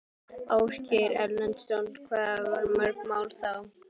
Ásgeir Erlendsson: Hvað voru mörg mál þá?